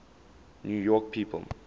new york people